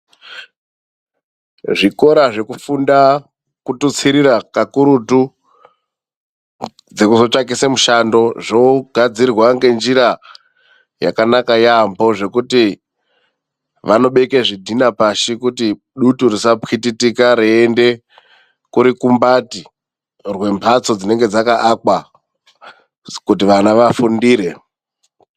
Zvikora zvekufunda ,kututsirira kakurutu dzekotsvakise mushando. Zvogadzirwa ngenjira yakanaka yaamho ,zvekuti vanobeke zvidhina pashi kuti dutu risapwititika reiende murukumbati memhatso dzinenge dzakaakwa kuti vana vafundire.